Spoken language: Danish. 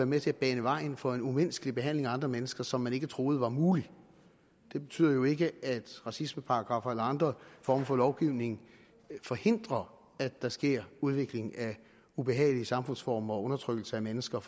med til at bane vejen for en umenneskelig behandling af andre mennesker som man ikke troede mulig det betyder jo ikke at racismeparagraffer eller andre former for lovgivning forhindrer at der sker udvikling af ubehagelige samfundsformer og undertrykkelse af mennesker